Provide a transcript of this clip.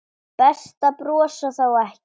Best að brosa þá ekki.